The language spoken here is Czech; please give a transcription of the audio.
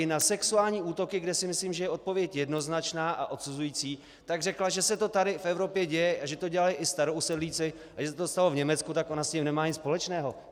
I na sexuální útoky, kde si myslím, že je odpověď jednoznačná a odsuzující, tak řekla, že se to tady v Evropě děje a že to dělají i starousedlíci, a že se to stalo v Německu, tak ona s tím nemá nic společného.